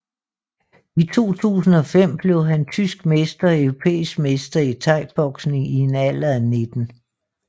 I 2005 blev han tysk mester og europæisk mester i thaiboksning i en alder af 19